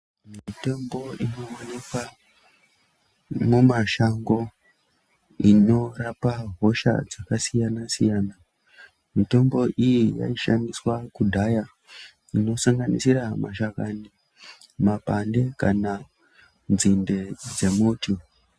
Mitombo inowanikwa mumashango inorapa hosha dzakasiyana siyana, mitombo iyi yaishandiswa kudhaya inosanganisira mashakanyi, mapande kana nzinde dzemuti.